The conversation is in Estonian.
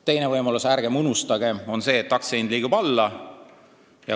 Teine võimalus, ärgem unustagem, on see, et aktsia hind liigub alla.